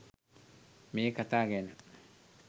මේ කතා ගැන